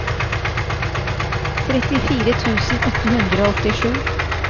trettifire tusen åtte hundre og åttisju